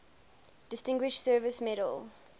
distinguished service medal